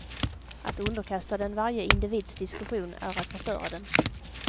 Att underkasta den varje individs diskussion är att förstöra den.